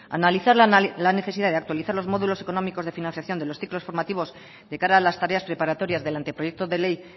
analizar la necesidad de actualizar los módulos económicos de financiación de los ciclos formativos de cara a las tareas preparatorias del anteproyecto de ley